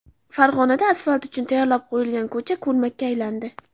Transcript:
Farg‘onada asfalt uchun tayyorlab qo‘yilgan ko‘cha ko‘lmakka aylandi .